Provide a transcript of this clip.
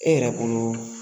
E yɛrɛ bolo